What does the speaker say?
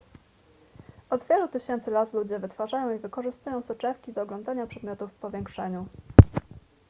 od wielu tysięcy lat ludzie wytwarzają i wykorzystują soczewki do oglądania przedmiotów w powiększeniu